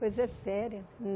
Coisa séria.